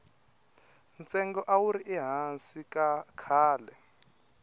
ntsengo a wuri hansi khale